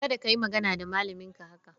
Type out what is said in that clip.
Kada ka yi magana da malaminka haka!